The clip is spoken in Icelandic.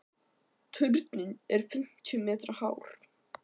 Turninn er fimmtíu metra hár.